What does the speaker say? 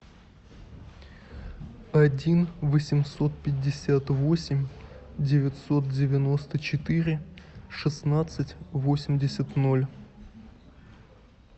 один восемьсот пятьдесят восемь девятьсот девяносто четыре шестнадцать восемьдесят ноль